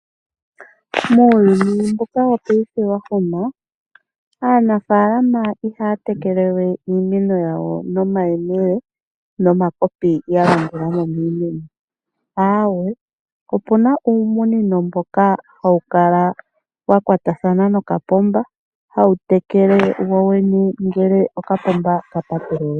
Muuyuni mbuka wopaife wahoma. Aanafaalama ihaya tekelewe iimeno yawo nomakopi nomayemele yalandulamo miimeno, opuna uumunino mboka hawu kala wakwatathana nokapomba , hawu tekele wowene ngele okapoomba kapatululwa.